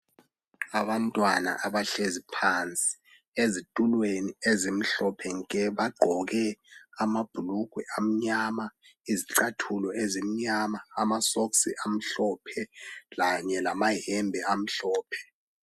Abantwana abahlezi phansi ezitulweni ezimhlophe nke bagqoke amabhulugwe amnyama, izicathulo ezimnyama, amasokisi amhlophe kanye lamayembe amhlophe.